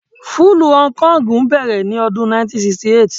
Fúlúù Hong Kong bẹ̀rẹ̀ ní ọdún 1968.